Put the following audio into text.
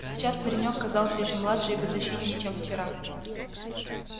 сейчас паренёк казался ещё младше и беззащитнее чем вчера